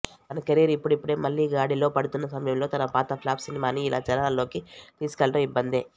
తన కెరీర్ ఇప్పుడిప్పుడే మళ్లీ గాడిలో పడుతున్న సమయంలో తన పాత ప్లాఫ్ సినిమాని ఇలా జనాల్లోకి తీసుకెళ్లటం ఇబ్బందే